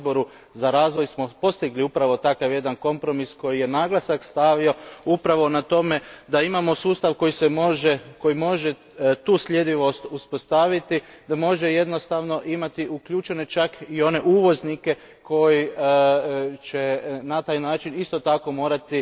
u Odboru za razvoj smo postigli upravo takav jedan kompromis koji je naglasak stavio upravo na to da imamo sustav koji može tu sljedivost uspostaviti, da može jednostavno imati uključene čak i one uvoznike koji će na taj način isto tako morati